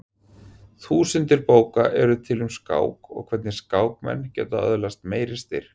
Þúsundir bóka eru til um skák og hvernig skákmenn geta öðlast meiri styrk.